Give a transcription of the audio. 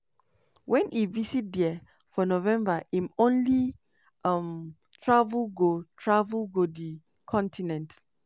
wen e visit there for november im only um travel go travel go di continent.